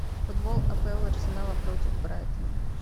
футбол апл арсенала против брайтона